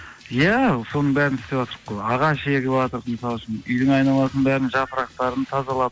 иә соның бәрін істеватырқ қой ағаш егіватырқ мысалы үшін үйдің айналасын бәрін жапырақтарын тазалап